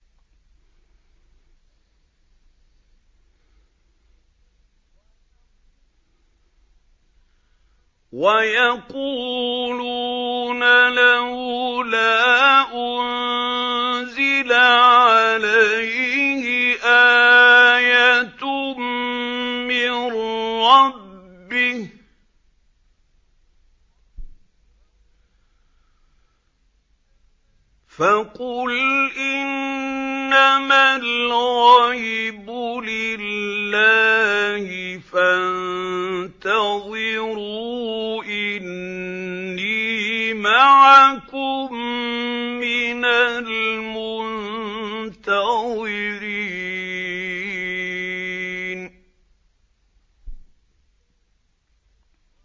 وَيَقُولُونَ لَوْلَا أُنزِلَ عَلَيْهِ آيَةٌ مِّن رَّبِّهِ ۖ فَقُلْ إِنَّمَا الْغَيْبُ لِلَّهِ فَانتَظِرُوا إِنِّي مَعَكُم مِّنَ الْمُنتَظِرِينَ